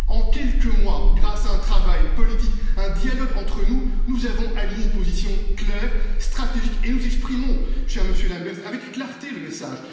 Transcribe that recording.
En quelques mois, grâce à un travail politique, à un dialogue entre nous, nous avons aligné une position claire, stratégique et nous exprimons avec clarté le message.